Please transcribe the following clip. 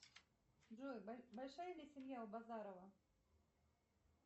джой большая ли семья у базарова